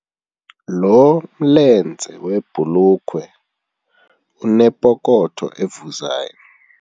Lo mlenze webhulukhwe unepokotho evuzayo.